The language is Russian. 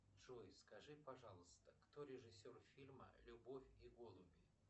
джой скажи пожалуйста кто режиссер фильма любовь и голуби